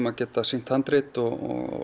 að geta sýnt handrit og